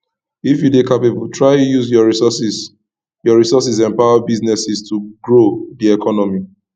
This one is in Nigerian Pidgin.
if you de capable try use your resources your resources empower businesses to grow di economy